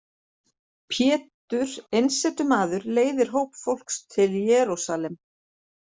Pétur einsetumaður leiðir hóp fólks til Jerúsalem.